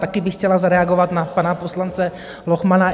Také bych chtěla zareagovat na pana poslance Lochmana.